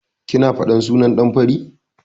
Kina faɗar sunan ɗan fari?